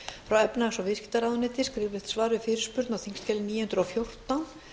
frá efnahags og viðskiptaráðuneyti skriflegt svar við fyrirspurn á þingskjali níu hundruð og fjórtán